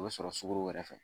O bɛ sɔrɔ sukoro wɛrɛ fɛ